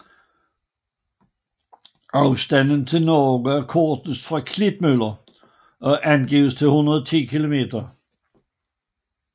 Afstanden til Norge er kortest fra Klitmøller og angives til 110 km